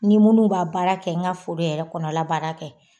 Ni munnu bɛ a baara kɛ, n ka foro yɛrɛ kɔnɔla baara kɛ